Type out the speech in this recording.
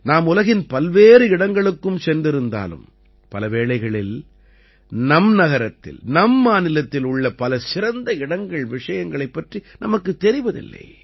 நாம் உலகின் பல்வேறு இடங்களுக்கும் சென்றிருந்தாலும் பல வேளைகளில் நம் நகரத்தில் நம் மாநிலத்தில் உள்ள பல சிறந்த இடங்கள்விஷயங்களைப் பற்றி நமக்குத் தெரிவதில்லை